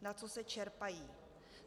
Na co se čerpají.